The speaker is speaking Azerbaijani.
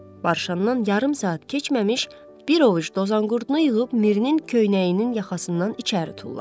Barışandan yarım saat keçməmiş bir ovuc dozanqurdunu yığıb Mirinin köynəyinin yaxasından içəri tulladı.